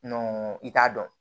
i t'a dɔn